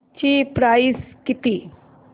ची प्राइस किती